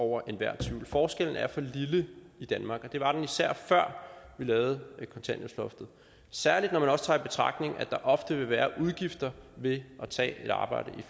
over enhver tvivl forskellen er for lille i danmark og det var den især før vi lavede kontanthjælpsloftet særlig når man også tager i betragtning at der ofte vil være udgifter ved at tage et arbejde i